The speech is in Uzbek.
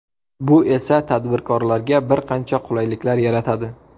Bu esa tadbirkorlarga bir qancha qulayliklar yaratadi.